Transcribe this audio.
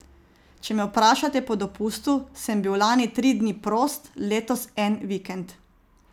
Če me vprašate po dopustu, sem bil lani tri dni prost, letos en vikend.